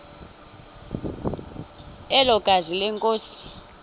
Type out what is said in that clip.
elo gazi lenkosi